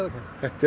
þetta er